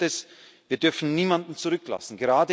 Und als Viertes Wir dürfen niemanden zurücklassen.